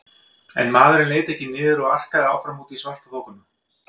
En maðurinn leit ekki niður og arkaði áfram út í svartaþokuna.